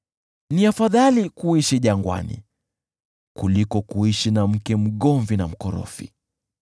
Ni afadhali kuishi jangwani kuliko kuishi na mke mgomvi na mkorofi.